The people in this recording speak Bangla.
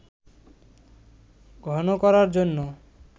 ঘন করার জন্য